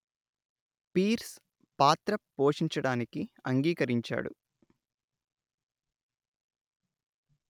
peers పాత్ర పోషించడానికి అంగీకరించాడు